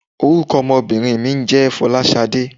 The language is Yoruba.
Orúkọ ọmọbìnrin mi ń jẹ́ "Folasade".